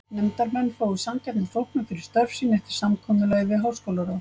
Nefndarmenn fái sanngjarna þóknun fyrir störf sín eftir samkomulagi við háskólaráð.